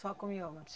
Só com mioma?